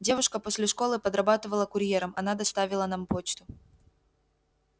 девушка после школы подрабатывала курьером она доставила нам почту